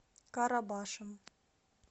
карабашем